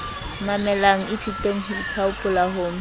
mamelang ithuteng ho ithaopola ho